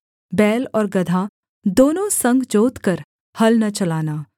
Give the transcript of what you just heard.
बैल और गदहा दोनों संग जोतकर हल न चलाना